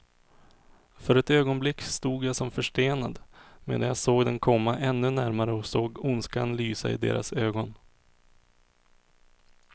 För ett ögonblick stod jag som förstenad, medan jag såg dem komma ännu närmare och såg ondskan lysa i deras ögon.